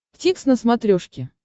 дтикс на смотрешке